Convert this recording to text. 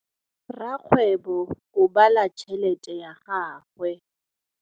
Rakgwêbô o bala tšheletê ya gagwe.